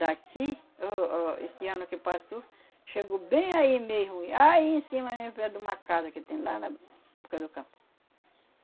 Daqui, o, o, esse ano que passou, chegou bem aí mesmo, e aí em cima mesmo, perto de uma casa que tem lá na boca do campo.